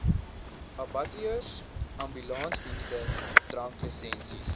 abattoirs ambulansdienste dranklisensies